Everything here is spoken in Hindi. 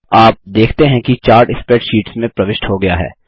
आप देखते हैं कि चार्ट स्प्रैडशीट में प्रविष्ट हो गया है